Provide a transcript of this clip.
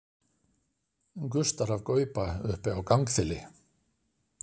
gustar af gauba uppi á gangþili